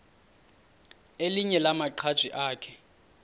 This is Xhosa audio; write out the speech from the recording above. elinye lamaqhaji akhe